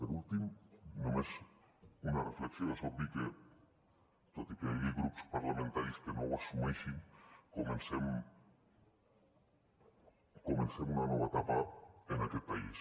per últim només una reflexió és obvi que tot i que hi hagi grups parlamentaris que no ho assumeixin comencem una nova etapa en aquest país